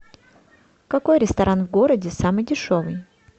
какой ресторан в городе самый дешевый